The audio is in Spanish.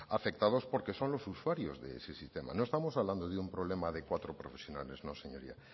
afectados porque son los usuarios de ese sistema no estamos hablando de un problema de cuatro profesionales no señoría